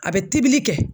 A bɛ tibili kɛ